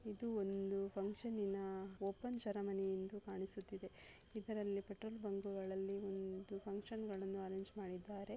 ಇದು ಒಂದು ಫಂಕ್ಷನ್ ನಿನಾ ಓಪನ್ ಸೆರೆಮನಿ ಎಂದು ಕಾಣಿಸುತ್ತಾ ಇದೆ. ಇದರಲ್ಲಿ ಪಟ್ಟಣ ಬಂದುಗಳಲ್ಲಿ ನಾನು ಫಂಕ್ಷನ್ಗಳನ್ನು ಅರೇಂಜ್ ಮಾಡಿದ್ದಾರೆ.